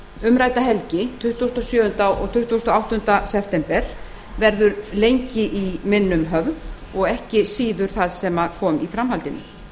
umrædda helgi tuttugasta og sjöunda og tuttugasta og áttunda september verður lengi í minnum höfð og ekki síður það sem kom í framhaldinu